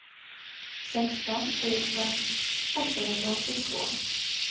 sexton tusen åttahundraåttiotvå